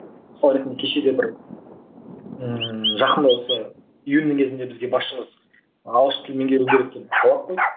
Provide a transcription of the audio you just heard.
мысалы ретінде кеше де бір ыыы жақында осы июньнің кезінде бізге басшымыз ағылшын тілін меңгеру керек деп талап қойды